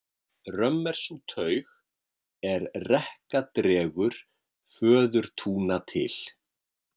Römm er sú taug, er rekka dregur föðurtúna til.